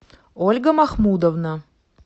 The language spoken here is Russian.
ольга махмудовна